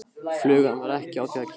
Flugan var ekki á því að gefast upp.